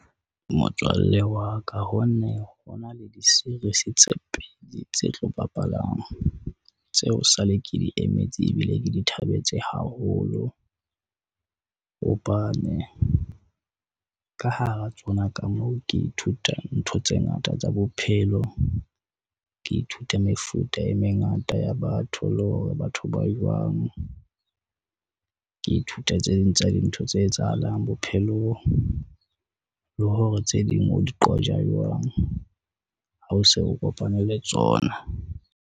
Motswalle wa ka ho nne ho na le di-series tse pedi tse tlo bapalang, tseo esale ke di emetse ebile ke di thabetse haholo. Hobane ka hara tsona ka moo ke ithuta ntho tse ngata tsa bophelo, ke ithuta mefuta e mengata ya batho le hore batho ba jwang. Ke ithuta tse ding tsa dintho tse etsahalang bophelong, le hore tse ding o di qoja jwang ha o se o kopane le tsona.